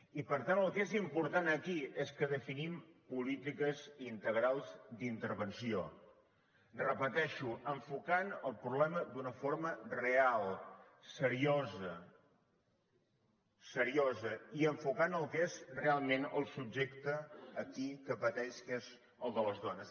i per tant el que és important aquí és que definim polítiques integrals d’intervenció ho repeteixo enfocant el problema d’una forma real seriosa seriosa i enfocant el que és realment el subjecte aquí que pateix que és el de les dones